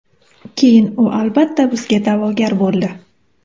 Keyin u albatta bizga da’vogar bo‘ldi.